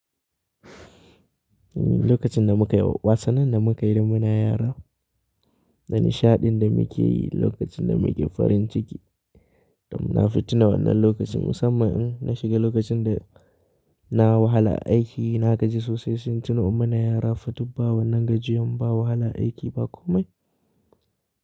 Lokacin da muka yi wasannin da muka yi da muna yara da nishaɗin da muke yi lokacin da muke farin ciki, dan nafi tuna wannan lokacin. Musamman in na shiga lokacin da na wahala aiki, na gaji sosai, sai in tuno in muna yara, fa dubba wannan gajiyan ba wahalan aiki ba komai.